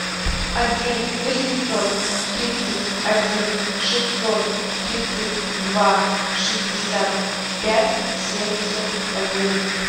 один восемьсот тридцать один шестьсот тридцать два шестьдесят пять семьдесят один